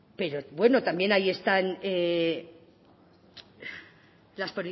pero bueno también ahí están las